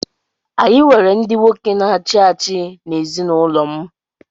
Anyị nwere ndị nwoke na-achị achị n’ezinụlọ m.